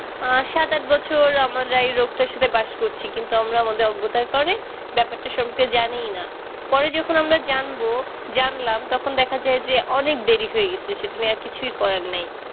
আ সাত আট বছর আমরাই এই রোগটার সাথে বাস করছি কিন্তু আমরা আমাদের অজ্ঞতার কারে ব্যাপারটা শুনতে জানিইনা পরে যখন আমরা জানবো জানলাম তখন দেখা যায় যে অনেক দেরি হয়ে গেছে সেটা নিয়ে আর কিছুই করার নেই